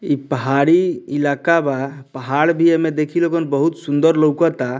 इ पहाड़ी इलाका बा पहाड़ भी एमे देखे लोगन बहुत सुंदर लउकता।